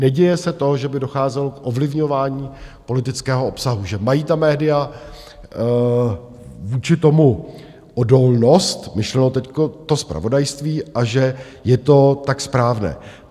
Neděje se to, že by docházelo k ovlivňování politického obsahu, že mají ta média vůči tomu odolnost, myšleno teď to zpravodajství, a že je to tak správné.